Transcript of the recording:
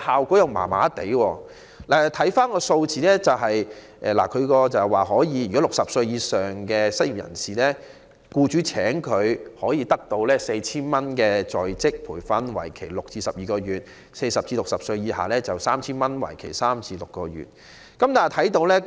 根據有關數字，如僱主聘用60歲以上的失業人士，可獲得 4,000 元的在職培訓津貼，為期6至12個月；如聘用40歲至60歲以下的失業人士，則可獲得 3,000 元的在職培訓津貼，為期3至6個月。